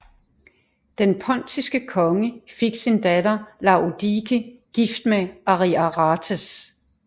Den pontiske konge fik sin datter Laodike gift med Ariarathes